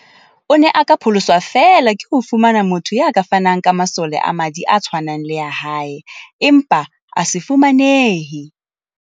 O ne a ka pholoswa feela ke ho fumana motho ya ka fanang ka masole a madi a tshwanang le a hae, empa a se fumanehe.